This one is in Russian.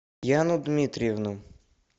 яну дмитриевну